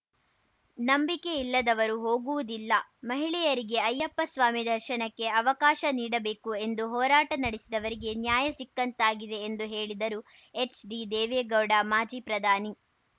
ನಂಬಿಕೆ ಇಲ್ಲದವರು ಹೋಗುವುದಿಲ್ಲ ಮಹಿಳೆಯರಿಗೆ ಅಯ್ಯಪ್ಪಸ್ವಾಮಿ ದರ್ಶನಕ್ಕೆ ಅವಕಾಶ ನೀಡಬೇಕು ಎಂದು ಹೋರಾಟ ನಡೆಸಿದವರಿಗೆ ನ್ಯಾಯ ಸಿಕ್ಕಂತಾಗಿದೆ ಎಂದು ಹೇಳಿದರು ಎಚ್‌ಡಿದೇವೇಗೌಡ ಮಾಜಿ ಪ್ರಧಾನಿ